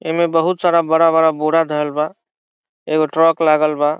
ए में बहुत सारा बड़ा बड़ा बोरा धैल बा | एगो ट्रक्स लागल बा |